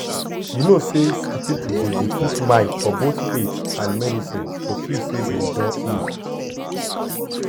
you know say some people dey dey put mind for both faith and medicine to feel say dem don heal